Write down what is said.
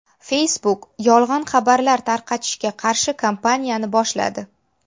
Facebook yolg‘on xabarlar tarqatishga qarshi kampaniyani boshladi.